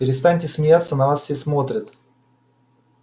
перестаньте смеяться на нас все смотрят